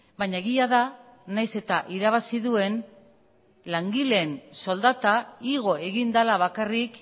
baina egia da nahiz eta irabazi duen langileen soldata igo egin dela bakarrik